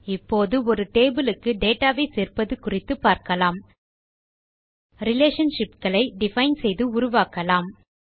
இப்போது ஒரு டேபிள் க்கு டேட்டா வை சேர்ப்பது குறித்து பார்க்கலாம் relationshipகளை டிஃபைன் செய்து உருவாக்குவோம்